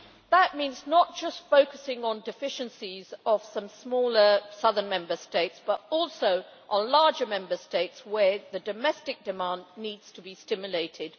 That means not just focusing on deficiencies in some smaller southern Member States, but also on larger Member States, where domestic demand needs to be stimulated.